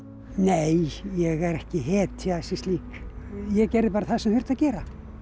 nei ég er ekki hetja sem slík ég gerði bara það sem þurfti að gera